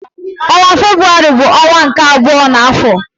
Ọnwa Febrụwarị bụ ọnwa nke abụọ n'afọ.